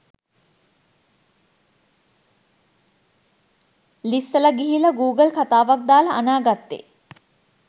ලිස්සල ගිහිල්ල ගූගල් කතාවක් දාල අනා ගත්තේ.